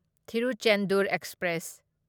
Tiruchendur express